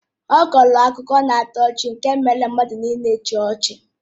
Ọ kọọrọ akụkọ na-atọ ọchị nke mere ka mmadụ nịịle chịa ọchị.